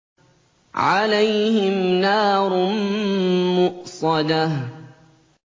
عَلَيْهِمْ نَارٌ مُّؤْصَدَةٌ